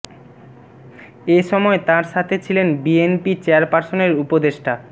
এ সময় তার সাথে ছিলেন বিএনপি চেয়ারপার্সনের উপদেষ্টা ড